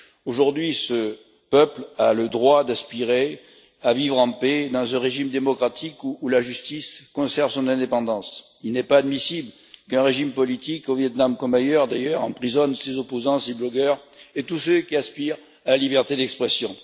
Aujourd'hui, ce peuple a le droit d'aspirer à vivre en paix dans un régime démocratique, où la justice conserve son indépendance. Il n'est pas admissible qu'un régime politique au Viêt Nam comme ailleurs, d'ailleurs emprisonne ses opposants, ses blogueurs et tous ceux qui aspirent à la liberté d'expression.